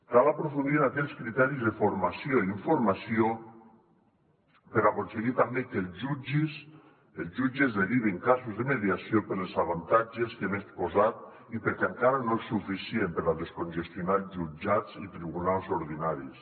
cal aprofundir en aquells criteris de formació i informació per aconseguir també que els jutges derivin casos de mediació pels avantatges que hem exposat i perquè encara no és suficient per a descongestionar els jutjats i tribunals ordinaris